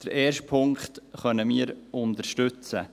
Den ersten Punkt können wir unterstützen.